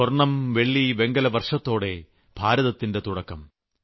സ്വർണ്ണം വെള്ളി വെങ്കല വർഷത്തോടെ ഭാരതത്തിന്റെ തുടക്കം